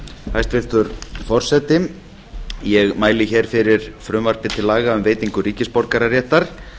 hæstvirtur forseti ég mæli hér fyrir frumvarpi til laga um veitingu ríkisborgararéttar